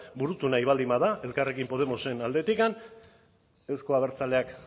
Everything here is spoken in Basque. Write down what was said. burutu nahi baldin bada elkarrekin podemosen aldetikan euzko abertzaleak